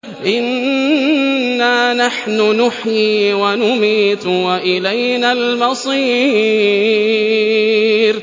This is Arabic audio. إِنَّا نَحْنُ نُحْيِي وَنُمِيتُ وَإِلَيْنَا الْمَصِيرُ